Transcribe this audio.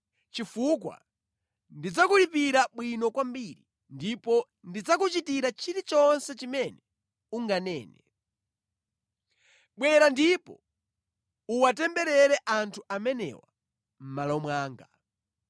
chifukwa ndidzakulipira bwino kwambiri ndipo ndidzakuchitira chilichonse chimene unganene. Bwera ndipo uwatemberere anthu amenewa mʼmalo mwanga.’ ”